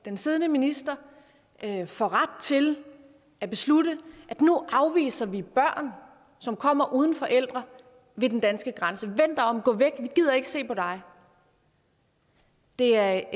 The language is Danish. den siddende minister får ret til at beslutte at nu afviser vi børn som kommer uden forældre ved den danske grænse vend dig om gå væk vi gider ikke se på dig det er